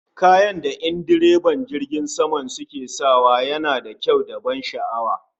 Kayan da en direban jirgin sama suke sawa na aiki yana da kyau da ban sha'awa